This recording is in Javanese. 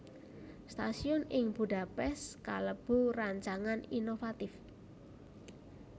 Stasiun ing Budapest kalebu rancangan inovatif